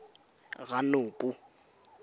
ranoko